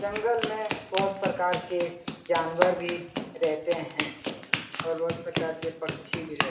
जंगल में बहुत प्रकार के जानवर भी रहते हैं और बहुत प्रकार के पक्षी भी रह --